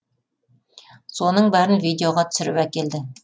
соның бәрін видеоға түсіріп әкелді